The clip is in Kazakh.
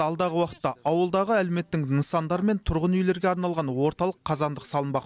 алдағы уақытта ауылдағы әлеуметтік нысандар мен тұрғын үйлерге арналған орталық қазандық салынбақ